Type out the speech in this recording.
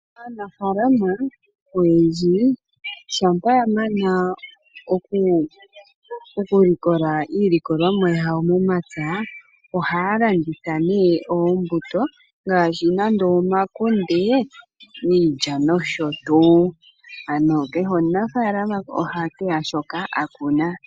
Aanafalama oyendji shampa yamana okulikola iilikolomwa yawo momapya, ohaya landitha nee oombuto ngaashi, omakunde, iilya, nosho tuu. Ano kehe omunafaalama ohateya shoka a kuna.